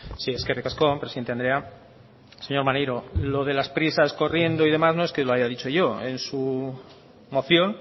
sí eskerrik asko presidente andrea señor maneiro lo de las prisas corriendo y demás no es que lo haya dicho yo en su moción